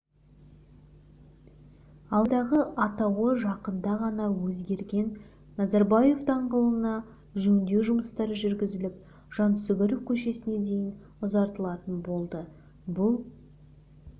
алматыдағы атауы жақында ғана өзгерген назарбаев даңғылына жөндеу жұмыстары жүргізіліп жансүгіров көшесіне дейін ұзартылатын болды бұл